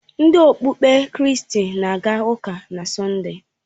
Ndị okpukpe kristi na aga ụka na Sọnde.